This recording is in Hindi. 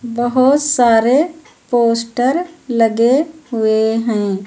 बहोत सारे पोस्टर लगे हुए हैं।